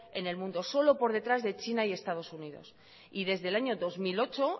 en el mundo solo por detrás de china y estado unidos y desde el año dos mil ocho